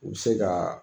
U bɛ se ka